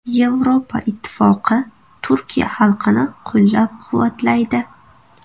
Yevropa Ittifoqi Turkiya xalqini qo‘llab-quvvatlaydi.